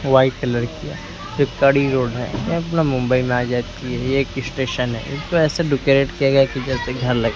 white colour की है road है ये अपना मुंबई में आ जाती है ये एक स्टेशन है इसको ऐसे डेकोरेट किया गया है कि जैसे घर लग--